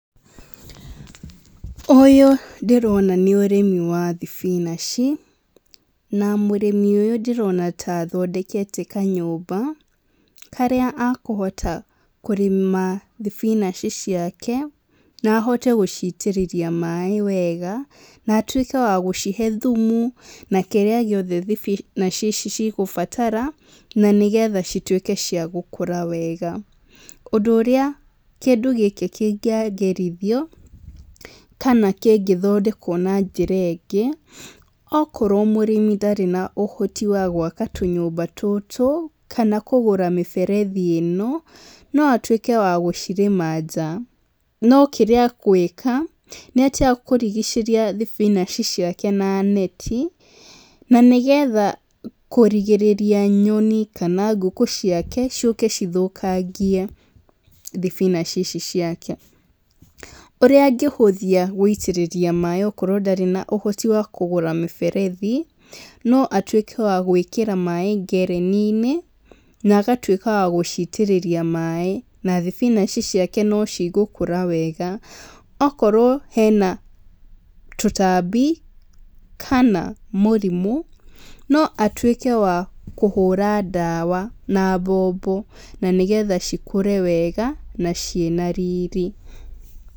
Ũyũ ndĩrona nĩ ũrĩmi wa thibinaci na mũrĩmi ũyũ ndĩrona ta athondekete ka nyũmba karĩa akũhota kũrĩma thibinaci ciake na ahote gũcitĩrĩria maĩ wega na atuĩke wa gũcihe thumu na kĩrĩa gĩothe thibinaci ici ciothe cigũbatara, na nĩgetha cituĩke cia gũkura wega. Ũndũ ũrĩa kĩndũ gĩkĩ kĩngĩonjorithio kana kĩngĩthondekwo na njĩra ĩngĩ okorwo mũrĩmi ndarĩ na ũhoti wa gwaka tũnyũmba tũtũ kana kũgũra mĩberethi ĩno no atuĩke wa gũcirĩma nja, no kĩrĩa agwĩka nĩ atĩ akũrigicĩria thibinaci ciake na neti na nĩgetha kũrigĩrĩria nyoni kana ngũkũ ciake ciũke cithũkangie thibinaci ici ciake, ũrĩa angĩhũthia gũitĩrĩria maĩ okorwo ndarĩ na ũhoti wa kũgũra mĩberethi no atuĩke wa gwĩkĩra maĩ ngereni-inĩ, agatuĩka wa gũcitĩrĩria maĩ na thibinaci ciake no cigũkũra wega, okorwo hena tũtambi kana mũrimũ no atuĩke wa kũhũra dawa na mbombo nĩgetha cikũre wega na ciĩna riri.